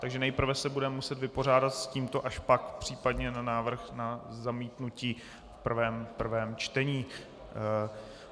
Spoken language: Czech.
Takže nejprve se budeme muset vypořádat s tímto, až pak případně na návrh na zamítnutí v prvém čtení.